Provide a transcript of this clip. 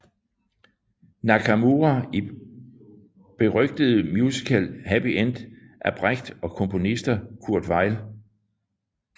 Nakamura i berygtede musical Happy End af Brecht og komponisten Kurt Weill